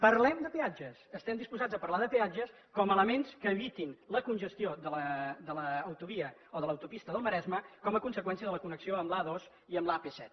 parlem de peatges estem disposats a parlar de peatges com a elements que evitin la congestió de l’autovia o de l’autopista del maresme com a conseqüència de la connexió amb l’a dos i amb l’ap set